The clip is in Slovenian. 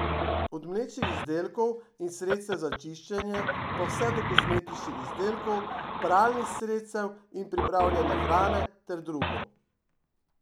Od mlečnih izdelkov in sredstev za čiščenje pa vse do kozmetičnih izdelkov, pralnih sredstev in pripravljene hrane ter drugo.